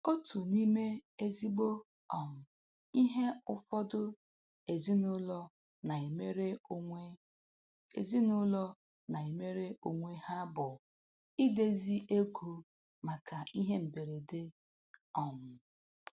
Otu n'ime ezigbo um ihe ụfọdụ ezinụlọ na-emere onwe ezinụlọ na-emere onwe ha bụ idezi ego maka ihe mberede um